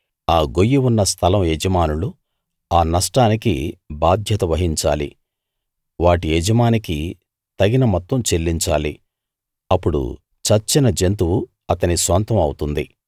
ఆ గొయ్యి ఉన్న స్థలం యజమానులు ఆ నష్టానికి బాధ్యత వహించాలి వాటి యజమానికి తగిన మొత్తం చెల్లించాలి అప్పుడు చచ్చిన జంతువు అతని సొంతం అవుతుంది